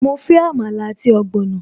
Mo fẹ́ Àmàlà àti ogbono